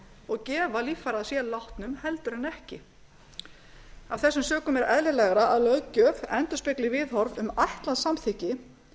og gefa líffæri að sér látnum heldur en ekki af þessum sökum er eðlilegra að löggjöf endurspegli viðhorf um ætlað samþykki